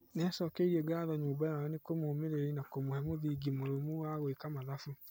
Nĩacokeirie ngatho nyũmba yao ni kũmũmĩrĩria na kũmũhe mũthingi mũrũmu wa gwĩka mathabu.